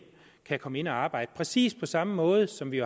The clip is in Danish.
komme ind og arbejde præcis på samme måde som vi